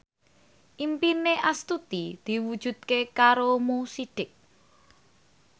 impine Astuti diwujudke karo Mo Sidik